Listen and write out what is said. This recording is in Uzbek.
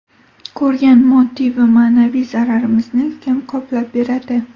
Ko‘rgan moddiy va ma’naviy zararimizni kim qoplab beradi?